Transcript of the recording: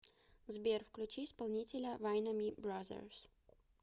сбер включи исполнителя вайноми бразерс